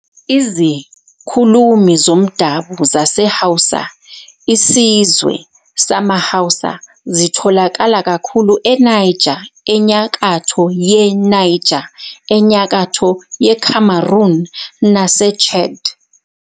Izikhulumi zomdabu zaseHausa, isizwe samaHausa, zitholakala kakhulu eNiger, eNyakatho yeNigeria, eNyakatho yeCameroon naseChad.